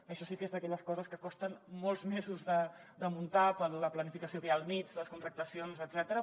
això sí que és d’aquelles coses que costen molts mesos de muntar per la planificació que hi ha al mig les contractacions etcètera